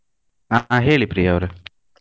ಅ ಅ ಹೇಳಿ ಪ್ರಿಯ ಅವ್ರೆ.